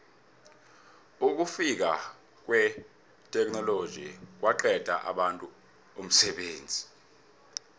ukufika kwetheknoloji kwaqedela abantu umsebenzi